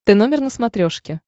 т номер на смотрешке